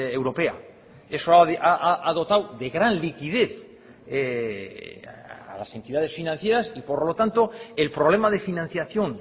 europea eso ha dotado de gran liquidez a las entidades financieras y por lo tanto el problema de financiación